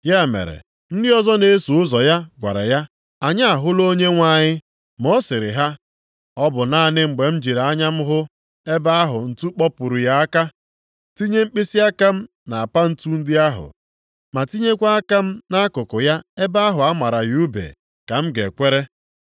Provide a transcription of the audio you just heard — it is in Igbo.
Ya mere, ndị ọzọ na-eso ụzọ ya gwara ya, “Anyị ahụla Onyenwe anyị!” Ma ọ sịrị ha, “Ọ bụ naanị mgbe m jiri anya m hụ ebe ahụ ntu kpọpuru ya aka, tinye mkpịsịaka m nʼapa ntu ndị ahụ, ma tinyekwa aka m nʼakụkụ ya ebe ahụ a mara ya ùbe, ka m ga-ekwere.”